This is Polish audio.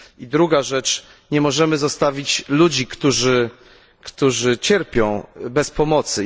I druga rzecz nie możemy zostawić ludzi, którzy cierpią, bez pomocy.